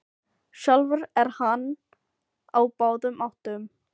Sjálfur er hann á báðum áttum.